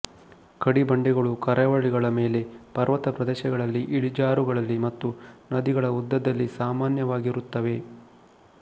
ಕಡಿಬಂಡೆಗಳು ಕರಾವಳಿಗಳ ಮೇಲೆ ಪರ್ವತ ಪ್ರದೇಶಗಳಲ್ಲಿ ಇಳಿಜಾರುಗಳಲ್ಲಿ ಮತ್ತು ನದಿಗಳ ಉದ್ದದಲ್ಲಿ ಸಾಮಾನ್ಯವಾಗಿರುತ್ತವೆ